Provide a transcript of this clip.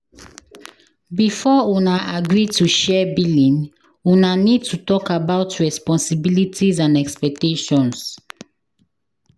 Before una agree to share billing una need to talk about responsibilities and expectations